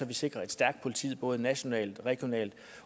vi sikrer et stærkt politi både nationalt regionalt